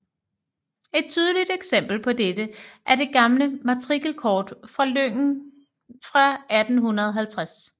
Et tydeligt eksempel på dette er det gamle matrikelkort fra lyngen fra 1850